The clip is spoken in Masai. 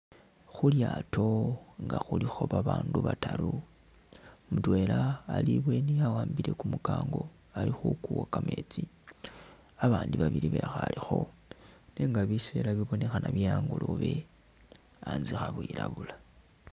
Khulyato nga khulikho babandu bataaru, mutwela ali ibweni awambile kumukango ali khukuwa kametsi, abandi babili bekhalekho nenga biseela bibonekhana bye angolobe antse khabwilabula.